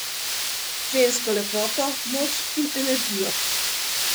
Žensko lepoto, moč in energijo.